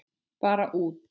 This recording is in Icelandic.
Bara út.